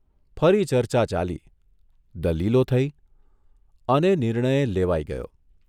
ફરી ચર્ચા ચાલી દલીલો થઇ અને નિર્ણય લેવાઇ ગયો.